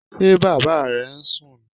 Ṣé Bàbá rẹ̀ ń sún nì?